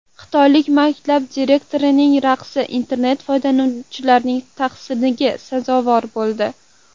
Xitoylik maktab direktorining raqsi internet foydalanuvchilarining tahsiniga sazovor bo‘ldi .